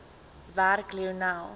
werk lionel